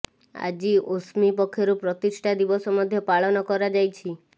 ଆଜି ଓସ୍ମି ପକ୍ଷରୁ ପ୍ରତିଷ୍ଠା ଦିବସ ମଧ୍ୟ ପାଳନ କରାଯାଇଛି